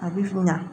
A bi kunya